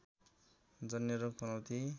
जन्य रोग पनौती